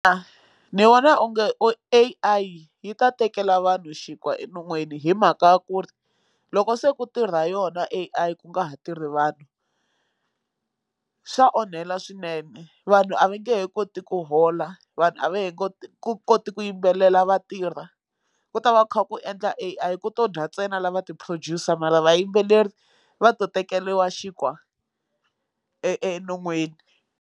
Ni vona onge A_I yi ta tekela vanhu xinkwa enon'wini hi mhaka ya ku ri loko se ku tirha yona A_I ku nga ha tirhi vanhu xa onhela swinene vanhu a va nge he koti ku hola vanhu a va ha koti ku koti ku yimbelela vatirha ku ta va ku kha ku endla A_I ku to dya ntsena lava ti producer mara vayimbeleri va to tekeriwa xinkwa enon'wini.